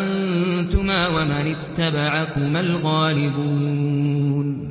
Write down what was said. أَنتُمَا وَمَنِ اتَّبَعَكُمَا الْغَالِبُونَ